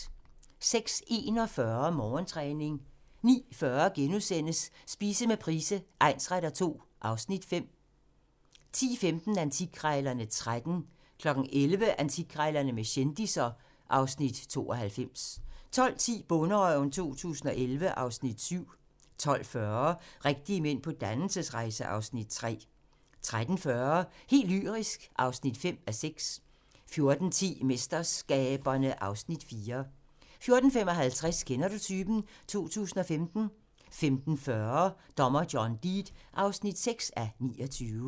06:41: Morgentræning 09:40: Spise med Price egnsretter II (Afs. 5)* 10:15: Antikkrejlerne XIII 11:00: Antikkrejlerne med kendisser (Afs. 92) 12:10: Bonderøven 2011 (Afs. 7) 12:40: Rigtige mænd på dannelsesrejse (Afs. 3) 13:40: Helt lyrisk (2:6) 14:10: MesterSkaberne (Afs. 4) 14:55: Kender du typen? 2015 15:40: Dommer John Deed (6:29)